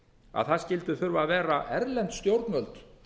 að það skyldu þurfa að vera erlend stjórnvöld